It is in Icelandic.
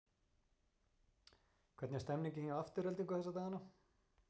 Hvernig er stemningin hjá Aftureldingu þessa dagana?